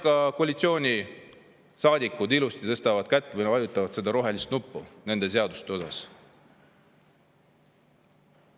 Ja koalitsioonisaadikud ilusti tõstavad kätt või vajutavad rohelist nuppu nende seaduste puhul.